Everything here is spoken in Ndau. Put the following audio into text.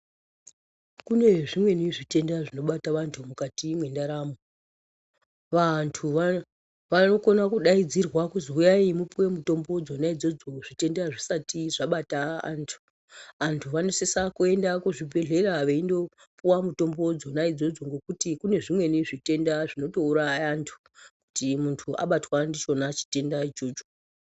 Kunezvimweni zvitenda zvinobata vantu mukati mendaramo. Vantu vanokona kudayidzirwa kuzi wuyayi mupiwe mutombo dzona idzodzo , zvitenda zvisati zvabata antu. Antu vanosisa kuyenda kuzvibhedhlera veyindopuwa mutombo dzodzo ngekuti kunezvimweni zvitenda zvinotowuraya antu, kuti muntu abatwa ndichona chitenda ichocho.